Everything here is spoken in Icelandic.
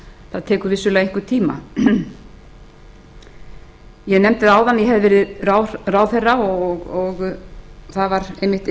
það mun vissulega taka einhvern tíma ég nefndi áðan að ég hefði verið ráðherra og það var einmitt